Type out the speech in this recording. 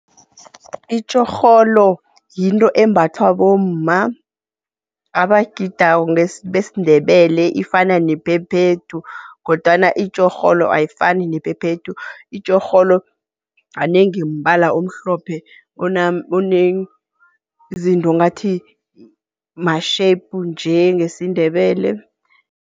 Itjorholo yinto embathwa bomma, abagidako besiNdebele ifana nephephethu kodwana itjorholo ayifani nephephethu. Itjorholo kanengi mbala omhlophe onezinto ngathi ma-shape njengesiNdebele